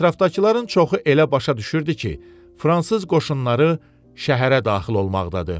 Ətrafdakıların çoxu elə başa düşürdü ki, Fransız qoşunları şəhərə daxil olmaqdadır.